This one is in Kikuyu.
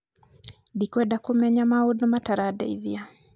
dikwenda kũmenya maũndũ mataradeithia